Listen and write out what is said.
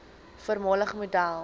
voormalige model